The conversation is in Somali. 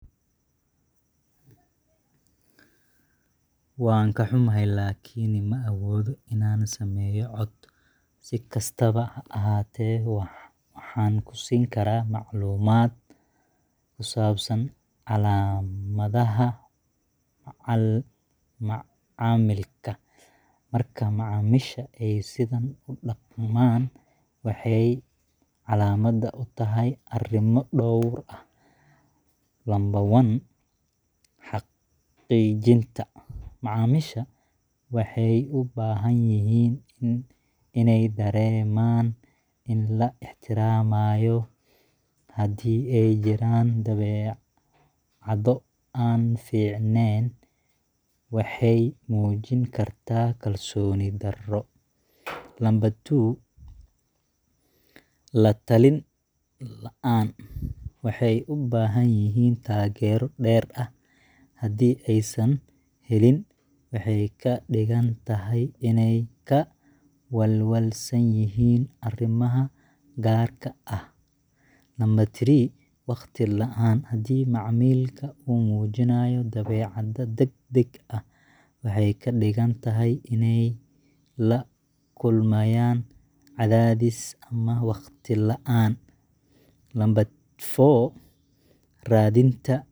Waan ka xumahay, laakiin ma awoodo inaan sameeyo cod. Si kastaba ha ahaatee, waxaan ku siin karaa macluumaad ku saabsan calaamadaha macaamilka. Marka macaamiishu ay sidan u dhaqmaan, waxay calaamad u tahay arrimo dhowr ah: 1.Xaqiijinta Macaamiisha waxay u baahan yihiin inay dareemaan in la ixtiraamayo. Haddii ay jiraan dabeecado aan fiicneyn, waxay muujin kartaa kalsooni darro. 2. **La-talin La’aan: Waxay u baahan yihiin taageero dheeri ah. Haddii aysan helin, waxay ka dhigan tahay inay ka walwalsan yihiin arrimaha gaarka ah. 3. **Waqti La’aan**: Haddii macaamilka uu muujiyo dabeecad degdeg ah, waxay ka dhigan tahay inay la kulmayaan cadaadis ama waqti la